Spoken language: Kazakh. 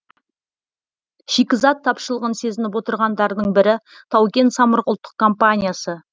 шикізат тапшылығын сезініп отырғандардың бірі тау кен самұрық ұлттық компаниясы